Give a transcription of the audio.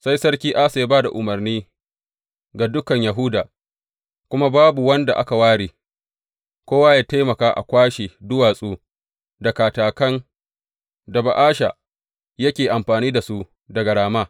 Sai Sarki Asa ya ba da umarni ga dukan Yahuda, kuma babu wanda aka ware, kowa yă taimaka a kwashe duwatsu da katakan da Ba’asha yake amfani da su daga Rama.